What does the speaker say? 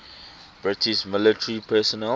british military personnel